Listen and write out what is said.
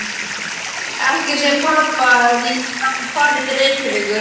Ekki segja pabba að ég hafi farið til Reykjavíkur.